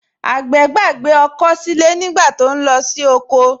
Àgbẹ̀ gbàgbé ọkọ́ sílé nígbà tó ń lọ sí oko